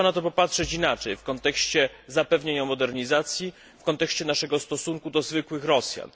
Trzeba na to popatrzeć inaczej, w kontekście zapewnienia modernizacji, w kontekście naszego stosunku do zwykłych Rosjan.